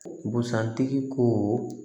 Busan tigi ko